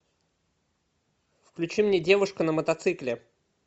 включи мне девушка на мотоцикле